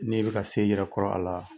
N'i bɛ ka se i yɛrɛ kɔrɔ a la